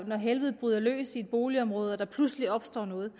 når helvede bryder løs i et boligområde og der pludselig opstår noget